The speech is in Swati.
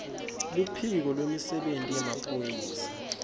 luphiko lwemisebenti yemaphoyisa